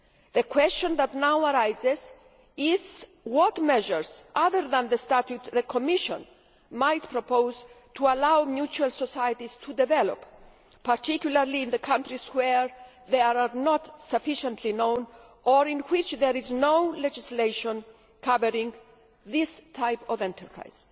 The question that now arises is what measures other than the statute might the Commission propose to allow mutual societies to develop, particularly in the countries where they are not sufficiently known or in which there is no legislation covering this type of enterprise.